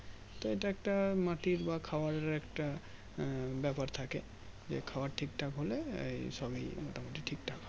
তো এটা একটা মাটির বা খাবারের একটা ব্যাপার থাকে যে খাবার ঠিক ঠাক হলে এই সবই মোটামুটি ঠিক ঠাক হবে